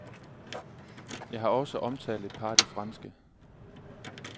Jeg har også omtalt et par af de franske.